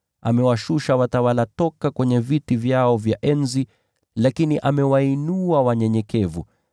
Amewashusha watawala toka kwenye viti vyao vya enzi, lakini amewainua wanyenyekevu.